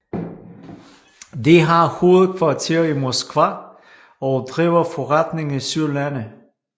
De har hovedkvarter i Moskva og driver forretning i 7 lande